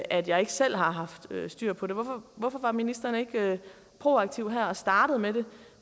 at jeg ikke selv har haft styr på det hvorfor var ministeren ikke proaktiv her og startede med